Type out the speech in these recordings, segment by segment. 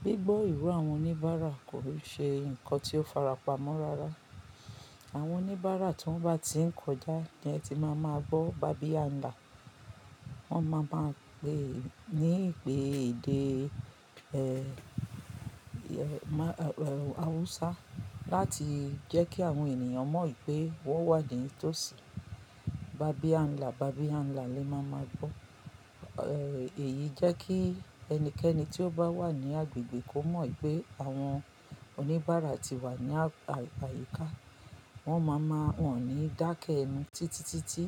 Gbígbọ́ ìro àwọn oníbàárà kò ṣe nǹkan tí ó farapa mọ́ rárá. Àwọn oníbàárà tí wọ́n bá ti ń kọjá ni ẹ ti máa máa gbọ́ "babi anla". Wọ́n máa máa pè é ní ìpè èdè, ẹ́, ẹ́, awusa láti jẹ́ kí àwọn ènìyàn mọ̀ pé wọ́n wà nì tó sì. "Babi anla, babi anla" ni ẹ máa máa gbọ́. Ẹ̀, èyí jẹ́ kí ẹnikẹ́ni tí ó bá wà ní agbègbè kó mọ̀ pé àwọn oníbàárà ti wà ní àyíká. Wọ́n máa máa wọ̀n ní dákẹ́ ẹnu títí, títí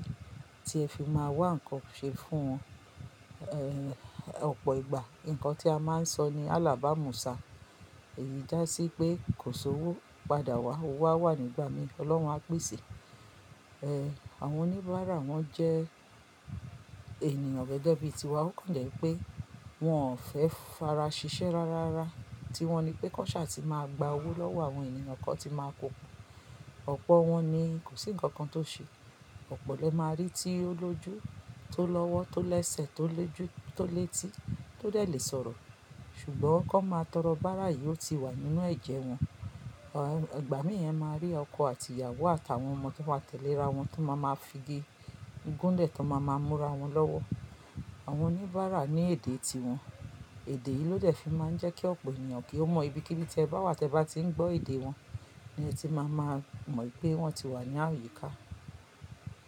tí ẹ fi máa wá nǹkan ṣe fún wọn. Ẹ̀, ọ̀pọ̀ ìgbà, nǹkan tí a máa ń sọ ni “alábàmúṣá”. Èyí dá sí pé “kò sí owó, padà wá owó á wà ní ìgbà mí, Ọlọ́run á pèsè.” Ẹ̀, àwọn oníbàárà wọ́n jẹ́ ènìyàn gẹ́gẹ́ bí i tiwa. Ó kàn jẹ́ pé wọ́n ò fẹ́ fara ṣiṣẹ́ rárá, tiwọn ni pé kọ́ṣà ti máa gba owó lọ́wọ́ àwọn ènìyàn kọ̀ tí máa pokùn. Ọ̀pọ̀ wọn ni kò sí ǹkan kan tó ṣe. Ọ̀pọ̀lọ́pọ̀ lè máa rí tí ó lójú, tó lọ́wọ́, tó lẹ́sẹ̀, tó lójù, tó léti, tó dẹ̀ lé sọ̀rọ̀. Ṣùgbọ́n kó máa tọrọ, bàárà yìí ó ti wà nínú ẹ̀jẹ̀ wọn. Ẹ̀, ìgbà mí ẹ máa rí ọkọ àti ìyàwó àtàwọn ọmọ tí wọ́n tẹ̀lé ra wọn tí wọ́n máa máa figi gunle tí wọ́n máa máa múra wọn lọ́wọ́. Àwọn oníbàárà ní èdè ti wọn. Èdè yìí ló dẹ̀ fi máa ń jẹ́ kí ọ̀pọ̀ ènìyàn kí ó mọ̀ ibi kíbí tí ẹ bá wà tí ẹ bá ti ń gbọ́ èdè wọn ni ẹ ti máa máa mọ̀ pé wọ́n ti wà ní àyíká.